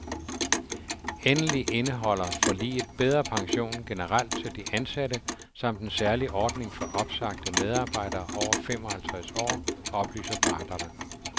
Endelig indeholder forliget bedre pension generelt til de ansatte samt en særlig ordning for opsagte medarbejdere over fem og halvtreds år, oplyser parterne.